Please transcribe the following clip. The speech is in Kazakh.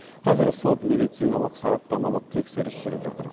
қазір сот медициналық сараптамалық тексеріс жүріп жатыр